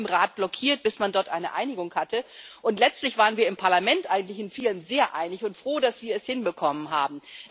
Es war lange im Rat blockiert, bis man dort eine Einigung hatte. Und letztlich waren wir im Parlament eigentlich in vielem sehr einig und froh, dass wir es hinbekommen haben.